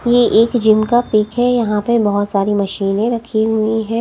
ये एक जिम का पिक यहां पे बहोत सारी मशीनें रखी हुई है।